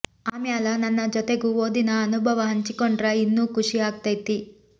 ಆಮ್ಯಾಲ ನನ್ನ ಜತೆಗೂ ಓದಿನ ಅನುಭವಾ ಹಂಚಿಕೊಂಡ್ರ ಇನ್ನೂ ಖುಷಿ ಆಕ್ಕೈತಿ